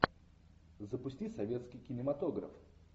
запусти советский кинематограф